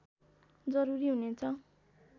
जरूरी हुनेछ